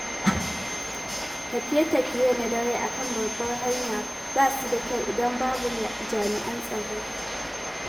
Tafiye-tafiye na dare a kan babbar hanya ba su da kyau idan babu jami'an tsaro kusa.